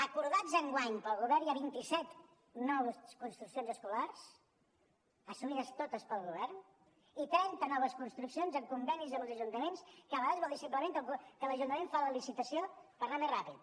acordades enguany pel govern hi ha vint i set noves construccions escolars assumides totes pel govern i trenta noves construccions amb convenis amb els ajuntaments que a vegades vol dir simplement que l’ajuntament fa la licitació per anar més ràpid